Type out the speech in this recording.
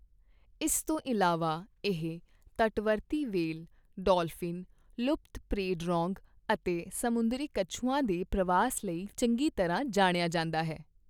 ਇਸ ਤੋਂ ਇਲਾਵਾ, ਇਹ ਤਟਵਰਤੀ ਵਹੇਲ, ਡੌਲਫਿਨ, ਲੁਪਤਪ੍ਰੇ ਡਗੋਂਗ ਅਤੇ ਸਮੁੰਦਰੀ ਕਛੂਆਂ ਦੇ ਪ੍ਰਵਾਸ ਲਈ ਚੰਗੀ ਤਰ੍ਹਾਂ ਜਾਣਿਆ ਜਾਂਦਾ ਹੈ।